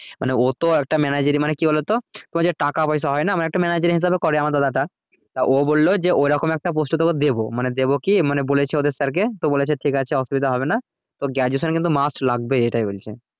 মানে ও তো একটা manager ই মানে কি বলোতো তোমার যে টাকা পয়সা হয় না মানে একটা manager হিসাবে করে আমার দাদাটা তা ও বললো যে ওরকম একটা post এ তোকে দেবো মানে দেবো কি মানে বলেছে ওদের sir কে তো বলেছে ঠিক আছে অসুবিধা হবেনা তোর graduation কিন্তু must লাগবেই এটাই বলছে